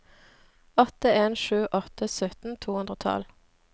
åtte en sju åtte sytten to hundre og tolv